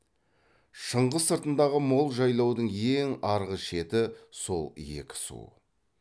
шыңғыс сыртындағы мол жайлаудың ең арғы шеті сол екі су